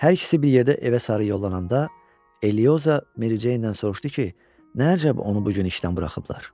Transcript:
Hər ikisi bir yerdə evə sarı yollananda Eliozo Meri Ceyndən soruşdu ki, nə əcəb onu bu gün işdən buraxıblar?